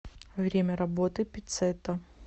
время работы пиццетта